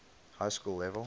high school level